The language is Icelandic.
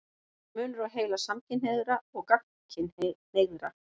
Er munur á heila samkynhneigðra og gagnkynhneigðra?